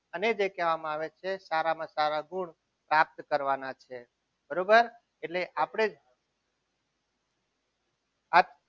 અને જે કહેવામાં આવે છે સારામાં સારા ગુણ પ્રાપ્ત કરવાના છે. બરાબર એટલે આપણે જે આ